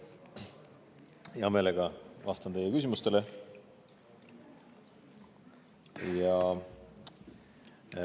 Hea meelega vastan teie küsimustele.